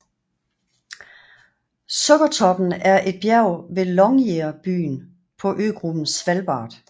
Sukkertoppen er et bjerg ved Longyearbyen på øgruppen Svalbard